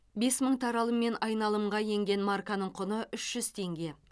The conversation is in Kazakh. бес мың таралыммен айналымға енген марканың құны үш жүз теңге